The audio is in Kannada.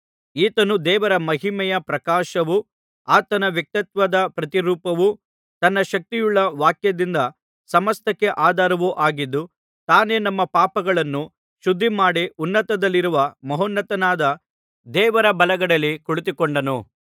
ಈತನು ದೇವರ ಮಹಿಮೆಯ ಪ್ರಕಾಶವೂ ಆತನ ವ್ಯಕ್ತಿತ್ವದ ಪ್ರತಿರೂಪವೂ ತನ್ನ ಶಕ್ತಿಯುಳ್ಳ ವಾಕ್ಯದಿಂದ ಸಮಸ್ತಕ್ಕೆ ಆಧಾರವೂ ಆಗಿದ್ದು ತಾನೇ ನಮ್ಮ ಪಾಪಗಳನ್ನು ಶುದ್ಧಿಮಾಡಿ ಉನ್ನತದಲ್ಲಿರುವ ಮಹೋನ್ನತನಾದ ದೇವರ ಬಲಗಡೆಯಲ್ಲಿ ಕುಳಿತುಕೊಂಡನು